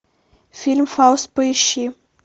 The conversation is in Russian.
фильм фауст поищи